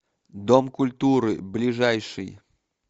дом культуры ближайший